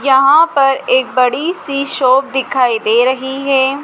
यहां पर एक बड़ी सी शॉप दिखाई दे रही है।